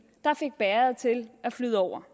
der fik bægeret til at flyde over